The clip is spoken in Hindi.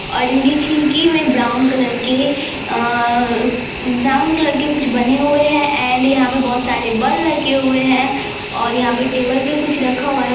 और इनकी खिरकी मे ब्राउन कलर क अ ब्राउन कलर के कुछ बने हुए है एण्ड यहाँ पे बोहोत सारे बल्ब लगे हुए ओर यहाँ पर टेबल पर कुछ रखा हुआ है।